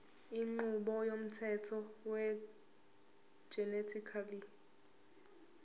inqubo yomthetho wegenetically